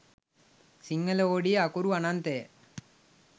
සිංහල හෝඩිය අකුරු අනන්තය